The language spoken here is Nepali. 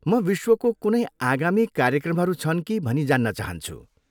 म विश्वको कुनै आगामी कार्यक्रमहरू छन् कि भनी जान्न चाहन्छु।